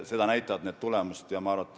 Seda näitavad tulemused.